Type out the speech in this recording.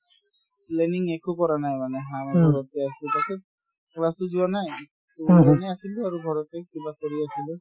planning একো কৰা নাই মানে ঘৰতে আছো তাৰপাছত class ও যোৱা নাই to এনে আছিলো আৰু ঘৰতে কিবা কৰি আছিলো